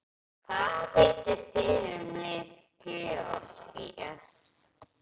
Hvað vitið þið um lið Georgíu?